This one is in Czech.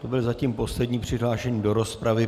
To byl zatím poslední přihlášený do rozpravy.